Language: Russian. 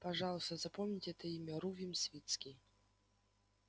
пожалуйста запомните это имя рувим свицкий